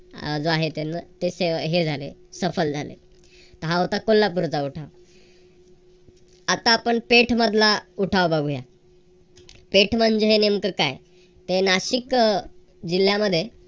अह जो आहे ते तो त्यांना हे झाले सफल झाले. तर हा होता कोल्हापूरचा उठाव. आता आपण पेठ मधला उठाव बघूया. पेठ म्हणजे हे नेमकं काय? ते नाशिक अह जिल्ह्यामध्ये